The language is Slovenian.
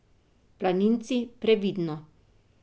Planinci, previdno!